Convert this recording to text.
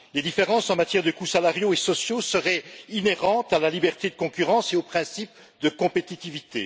Les différences en matière de coûts salariaux et sociaux seraient inhérentes à la liberté de concurrence et au principe de compétitivité.